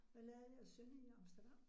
Hvad lavede jeres søn i Amsterdam?